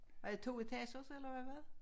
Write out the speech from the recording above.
Er det toetagers eller hvad?